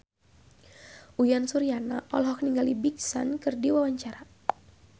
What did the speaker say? Uyan Suryana olohok ningali Big Sean keur diwawancara